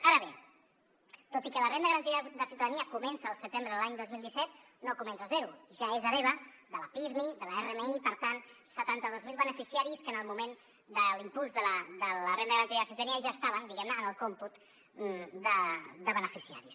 ara bé tot i que la renda garantida de ciutadania comença el setembre de l’any dos mil disset no comença de zero ja és hereva de la pirmi de l’rmi i per tant setanta dos mil beneficiaris que en el moment de l’impuls de la renda garantida de ciutadania ja estaven diguem ne en el còmput de beneficiaris